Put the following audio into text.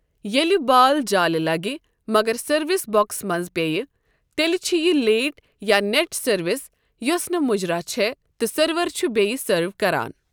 ییٛلہِ بال جالہِ لَگہِ مَگَر سروِس بو٘كس منز پیییہِ ، تیٛلہِ چِھ یہِ لیٹ یا نیٹ سٔروِس یوسہٕ نہٕ مٗجراہ چھے٘ تہٕ سرور چھٗ بییہ سرٕو كران ۔